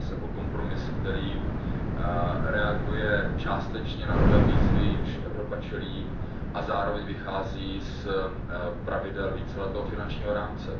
Jedná se o kompromis, který reaguje částečně na nové výzvy, jimž Evropa čelí, a zároveň vychází z pravidel víceletého finančního rámce.